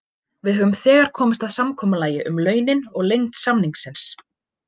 Við höfum þegar komist að samkomulagi um launin og lengd samningsins.